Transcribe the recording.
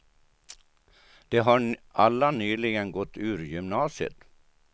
De har alla nyligen gått ur gymnasiet.